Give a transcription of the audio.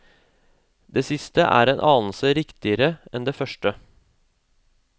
Det siste er en anelse riktigere enn det første.